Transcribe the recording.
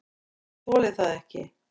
Ég bara þoli það ekki.